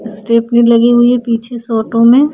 Stephanie लगी हुई है पीछे से ऑटो में --